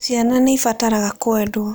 Ciana nĩ ibataraga kwendwo.